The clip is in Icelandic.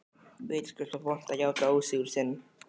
Vitaskuld var vont að játa ósigur sinn.